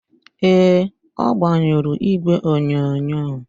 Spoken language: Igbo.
Ee, ọ gbanyụrụ igwe onyonyo